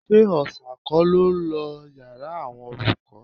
Ṣé Òòṣà kọ́ ló lọ yàrá àwọn olùkọ́